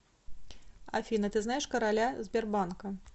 афина ты знаешь короля сбербанка